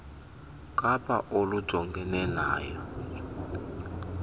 kapa olujongene nayo